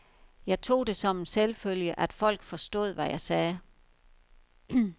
Jeg tog det som en selvfølge, at folk forstod, hvad jeg sagde.